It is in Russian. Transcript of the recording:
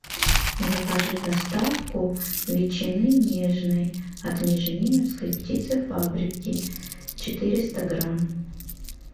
закажи доставку ветчины нежной от межениновской птицефабрики четыреста грамм